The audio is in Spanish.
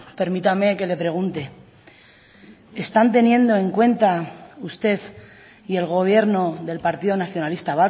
permítame que le pregunte están teniendo en cuenta usted y el gobierno del partido nacionalista